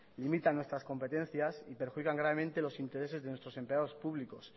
limitan nuestras competencias y perjudican gravemente los intereses de nuestros empleados públicos